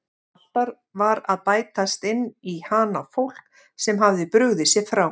Alltaf var að bætast inn í hana fólk sem hafði brugðið sér frá.